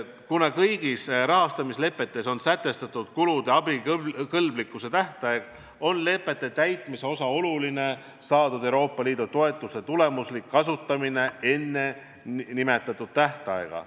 Kuna kõigis rahastamislepetes on sätestatud kulude abikõlblikkuse tähtaeg, on lepete täitmise oluline osa Euroopa Liidu toetuse tulemuslik kasutamine enne nimetatud tähtaega.